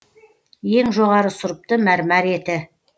ең жоғары сұрыпты мәрмәр еті